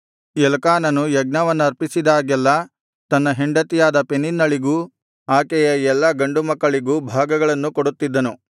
ಎಲ್ಕಾನನು ಯಜ್ಞವನ್ನರ್ಪಿಸಿದಾಗೆಲ್ಲಾ ತನ್ನ ಹೆಂಡತಿಯಾದ ಪೆನಿನ್ನಳಿಗೂ ಆಕೆಯ ಎಲ್ಲಾ ಗಂಡು ಹೆಣ್ಣುಮಕ್ಕಳಿಗೂ ಭಾಗಗಳನ್ನು ಕೊಡುತ್ತಿದ್ದನು